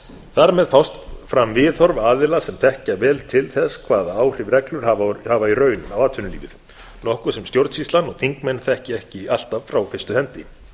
þar með fást fram viðhorf aðila sem þekkja vel til þess hvaða áhrif reglur hafa í raun á atvinnulífið nokkuð sem stjórnsýslan og þingmenn þekkja ekki alltaf frá fyrstu hendi